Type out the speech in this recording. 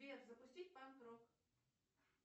сбер запустить панк рок